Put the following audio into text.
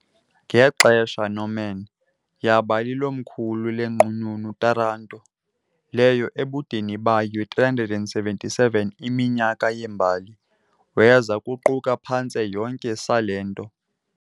Ngexesha Norman, yaba likomkhulu leNqununu Taranto , leyo ebudeni bayo 377 iminyaka yembali weza kuquka phantse yonke Salento .